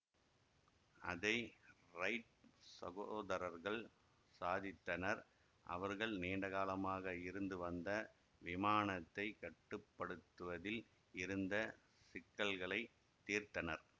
அதை ரைட் சகோதரர்கள் சாதித்தனர் அவர்கள் நீண்டகாலமாக இருந்து வந்த விமானத்தைக் கட்டு படுத்துவதில் இருந்த சிக்கல்களை தீர்த்தனர்